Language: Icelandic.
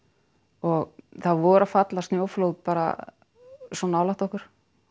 og það voru að falla snjóflóð bara svo nálægt okkur